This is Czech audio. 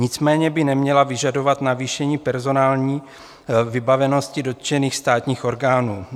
Nicméně by neměla vyžadovat navýšení personální vybavenosti dotčených státních orgánů.